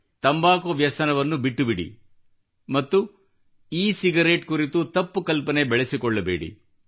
ತಂಬಾಕು ವ್ಯಸನವನ್ನು ಬಿಟ್ಟುಬಿಡಿ ಮತ್ತು ಇ ಸಿಗರೇಟ್ ಕುರಿತು ತಪ್ಪು ಕಲ್ಪನೆ ಬೆಳೆಸಿಕೊಳ್ಳಬೇಡಿ